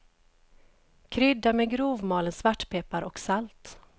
Krydda med grovmalen svartpeppar och salt.